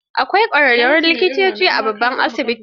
Akwai ƙwararrun likitoci a babban asibiti.